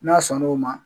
N'a sɔn n'o ma